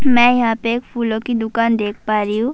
می یھاں پی ایک پھولو کی دکان دیکھ پا رہی ہو-